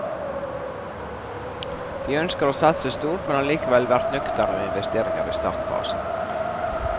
De ønsker å satse stort, men har likevel vært nøkterne med investeringer i startfasen.